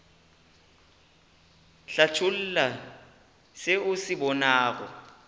hlatholla se o se bonago